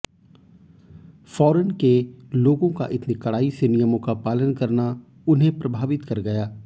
foreign के लोगों का इतनी कड़ाई से नियमों का पालन करना उन्हें प्रभावित कर गया